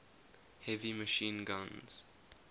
heavy machine guns